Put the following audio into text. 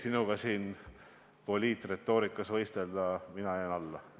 Sinuga siin poliitretoorikas võistelda – mina jään alla.